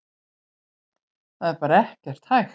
Það er bara ekkert hægt.